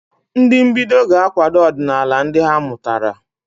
Ndị mbido ga-akwado ọdịnala ndị ha mụtara.